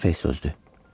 Səfeh sözdü.